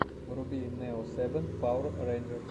вруби нео сэбэн пауэр рэйнджерс